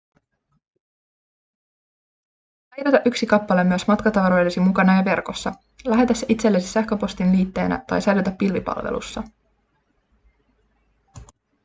säilytä yksi kappale myös matkatavaroidesi mukana ja verkossa lähetä se itsellesi sähköpostin liitteenä tai säilytä pilvipalvelussa